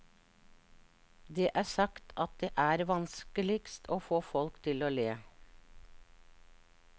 Det er sagt at det er vanskeligst å få folk til å le.